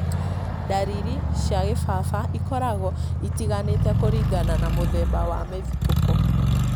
ndariri cia kĩbaba ikoragwo itiganĩte kũringana na mũthemba wa mũthitũko